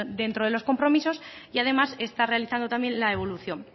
dentro de los compromisos y además está realizando también la evolución